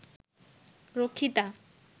রক্ষিতা